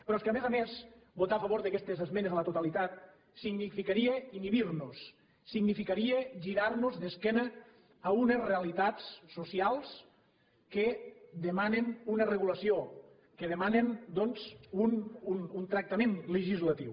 però és que a més a més votar a favor d’aquestes esmenes a la totalitat significaria inhibir nos significaria girar nos d’esquena a unes realitats socials que demanen una regulació que demanen doncs un tractament legislatiu